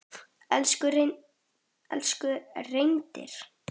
Elsku Reynir.